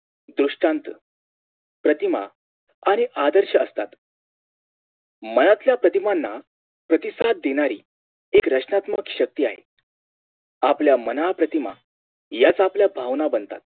दृष्टान्त प्रतिमा आणि आदर्श असतात मनातल्या प्रतिमाना प्रतिसाद देणारी एक रचनात्मक शक्ती आहे आपल्या मानप्रतिमा याच आपल्या भावना बनतात